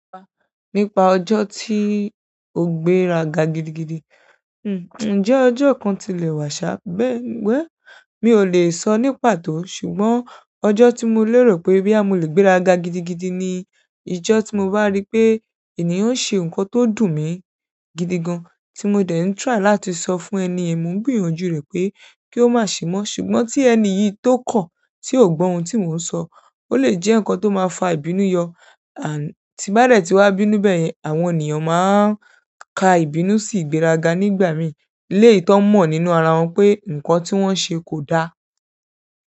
Nípa ọjọ́ tí ó gbéraga gidigidi, ǹjẹ́ ọjọ́ kan ti le wà ṣáà, bẹ́ẹ̀, well mi ò lè sọ ní pàtó. Ṣùgbọ́n ọjọ́ tí mo lérò pé bí a mú lè gbéraga gidigidi ni ijọ́ tí mo bá rí pé ènìyàn ń ṣe nǹkan tó dùn mí gidi gan, tí mo dẹ̀ ń try láti sọ fún ẹni èèyàn, mo ń gbìyànjú rẹ̀ pé kí ó má ṣe mọ́. Ṣùgbọ́n tí ẹni yi to kọ ti o gbọ òun ti mo ń sọ o le jẹ nkán tí o máa fà ìbínú yọ and tí bá dẹ̀ ti wá bínú bẹ́ẹ̀ yẹn, àwọn ènìyàn máa ka ìbínú sí ìgbéraga nígbà mìí, lé èyí tó mọ̀ nínú ara wọn pé nǹkan tí wọ́n ṣe kò da.